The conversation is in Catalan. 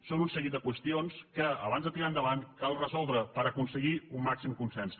són un seguit de qüestions que abans de tirar ho endavant cal resoldre per aconseguir el màxim consens